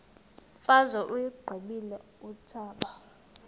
imfazwe uyiqibile utshaba